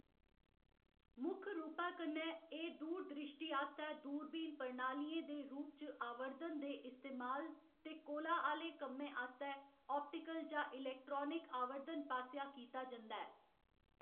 मुक्ख रूपै कन्नै, एह्‌‌ दूर द्रिश्टी आस्तै दूरबीन प्रणालियें दे रूप च आवर्धन दे इस्तेमाल ते कोला आह्‌लें कम्में आस्तै आप्टिकल जां इलैक्ट्रानिक आवर्धन पासेआ कीता जंदा ऐ।